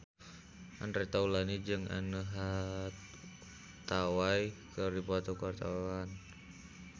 Andre Taulany jeung Anne Hathaway keur dipoto ku wartawan